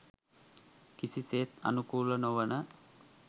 කිසිසේත් අනුකූල නොවන